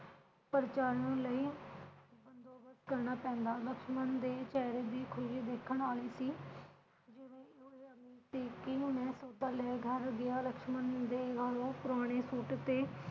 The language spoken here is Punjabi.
ਉਪਰ ਚੜਨ ਲਈ ਬੰਦੋਬਸਤ ਕਰਨਾ ਪੈਂਦਾ। ਲਕਸ਼ਮਣ ਦੇ ਚਿਹਰੇ ਦੀ ਖੁਸ਼ੀ ਦੇਖਣ ਵਾਲੀ ਸੀ ਕਿ ਉਪਰਲੇ ਘਰ ਦੀਆਂ ਲਕਸ਼ਮਣ ਪ੍ਰਾਹੁਣੇ ਸੁੱਟ ਤੇ